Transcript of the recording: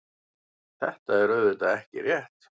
Þetta er auðvitað ekki rétt.